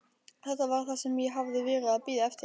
Þetta var það sem ég hafði verið að bíða eftir.